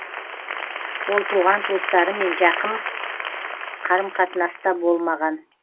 ол туған туыстарымен жақын қарым қатынаста болмаған